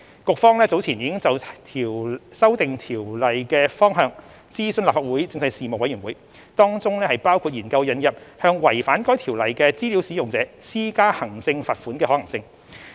局方早前已就修訂該條例的方向諮詢立法會政制事務委員會，當中包括研究引入向違反該條例的資料使用者施加行政罰款的可行性。